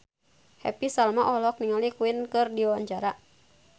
Happy Salma olohok ningali Queen keur diwawancara